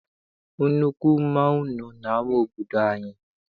Nnukwu mmanwụ nọ n'ama obodo anyị.